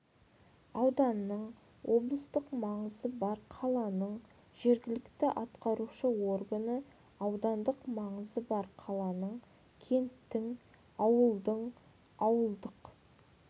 ауданның облыстық маңызы бар қаланың жергілікті атқарушы органы аудандық маңызы бар қаланың кенттің ауылдың ауылдық